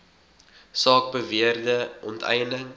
saak beweerde onteiening